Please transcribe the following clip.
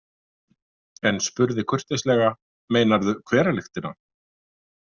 En spurði kurteislega: Meinarðu hveralyktina?